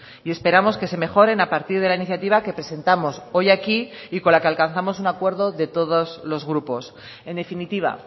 y esperamos que se mejoren a partir de la iniciativa que presentamos hoy aquí y con la que alcanzamos un acuerdo de todos los grupos en definitiva